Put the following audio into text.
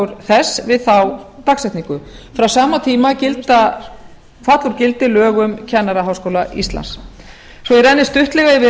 þess við þá dagsetningu frá sama tíma falla úr gildi lög um kennaraháskóla íslands svo ég renni stuttlega yfir